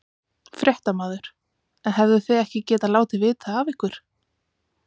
Fréttamaður: En hefðuð þið ekki getað látið vita af ykkur?